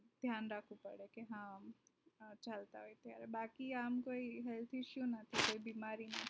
ધ્યાન રાખવું પડે કે હા અચ્છા અચ્છા બાકી આમ કોઈ issue નથી કોઈ બીમારી